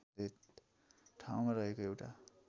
ठाउँमा रहेको एउटा